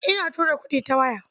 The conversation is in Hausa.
Ina tura kuɗi ta waya.